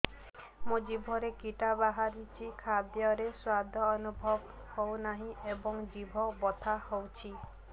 ମୋ ଜିଭରେ କିଟା ବାହାରିଛି ଖାଦ୍ଯୟରେ ସ୍ୱାଦ ଅନୁଭବ ହଉନାହିଁ ଏବଂ ଜିଭ ବଥା ହଉଛି